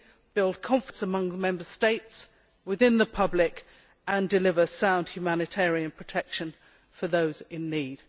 build confidence among the Member States and the public and deliver sound humanitarian protection for those in need.